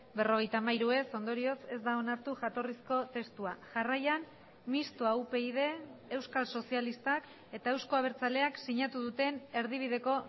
berrogeita hamairu ez ondorioz ez da onartu jatorrizko testua jarraian mistoa upyd euskal sozialistak eta euzko abertzaleak sinatu duten erdibideko